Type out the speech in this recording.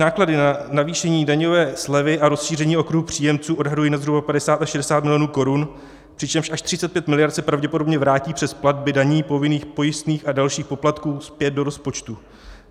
Náklady na navýšení daňové slevy a rozšíření okruhu příjemců odhaduji na zhruba 50 až 60 miliard korun, přičemž až 35 miliard se pravděpodobně vrátí přes platby daní, povinných pojistných a dalších poplatků zpět do rozpočtu.